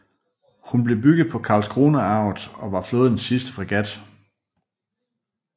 Hun blev bygget på Karlskronavarvet og var flådens sidste fregat